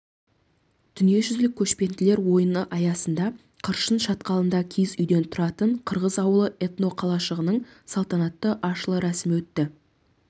дүниежүзілік көшпенділер ойыны аясында қыршын шатқалында киіз үйден тұратын қырғыз ауылы этноқалашығының салтанатты ашылы рәсімі өтті